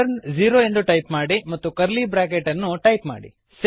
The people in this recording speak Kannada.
ರಿಟರ್ನ ಝೀರೋ ಎಂದು ಟೈಪ್ ಮಾಡಿ ಮತ್ತು ಕರ್ಲಿ ಬ್ರಾಕೆಟ್ ಅನ್ನು ಟೈಪ್ ಮಾಡಿ